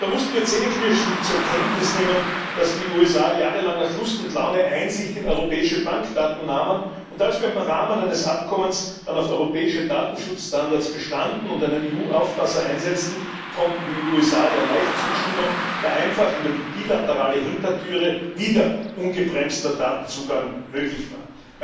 Da mussten wir zähneknirschend zur Kenntnis nehmen, dass die USA jahrelang nach Lust und Laune Einsicht in europäische Bankdaten nahmen, und als wir im Rahmen eines Abkommens dann auf europäischen Datenschutzstandards bestanden und einen EU Aufpasser einsetzten, konnten die USA leicht zustimmen, da einfach über die bilaterale Hintertür wieder ungebremster Datenzugang möglich war.